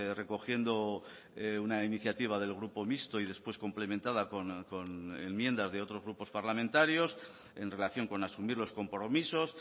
recogiendo una iniciativa del grupo mixto y después complementada con enmiendas de otros grupos parlamentarios en relación con asumir los compromisos